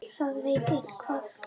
Það veit á eitthvað.